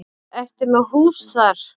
Ertu með hús þar?